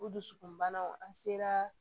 O dusukunbanaw an seraa